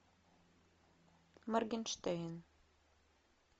моргенштерн